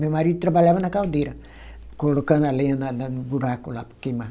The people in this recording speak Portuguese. Meu marido trabalhava na caldeira, colocando a lenha na na, no buraco lá para queimar.